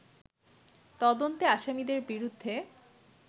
তদন্তে আসামিদের বিরুদ্ধে